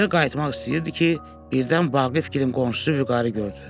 Evə qayıtmaq istəyirdi ki, birdən Vaqifgilin qonşusu Vüqarı gördü.